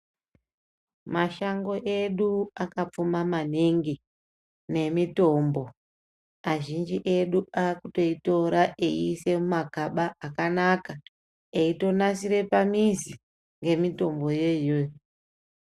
Mashango edu akapfuma maningi nemitombo. Azhinji edu aakutoitora eiise mumakaba akanaka, eitonasire pamizi, ngemitomboyo iyoyo.